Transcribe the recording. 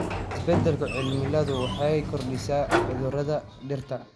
Isbeddelka cimiladu waxay kordhisay cudurrada dhirta.